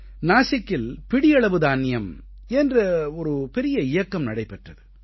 நாசிக்கில் பிடியளவு தானியம் என்ற ஒரு பெரிய இயக்கம் நடைபெற்றது